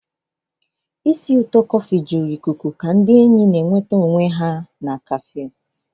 Ihe na-esi ísì ụtọ nke kọfị na-ejupụta ikuku ka ndị enyi na-enweta na kefu.